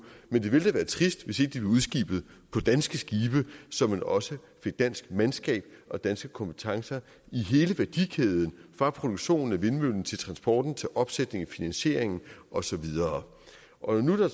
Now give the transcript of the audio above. men det ville da være trist hvis ikke de blev udskibet på danske skibe så man også fik dansk mandskab og danske kompetencer i hele værdikæden fra produktionen af vindmøllen til transporten opsætningen finansieringen og så videre og når der